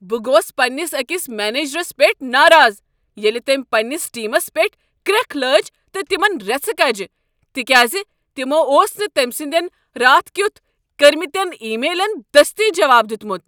بہٕ گوس پنٛنس أکس منیجرس پیٹھ ناراض ییٚلہ تٔمۍ پنٛنس ٹیمس پیٹھ کرٛیکھ لٲج تہٕ تمن ریژھٕ کجہ، تکیاز تمو اوس نہٕ تٔمۍ سٕندین راتھ کیتھ کٔرۍمٕتین ای میلن دستی جواب دیتمت۔